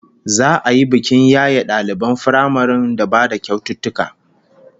Za'a yi bikin yaye daliban firamaren da ba da kyaututtuka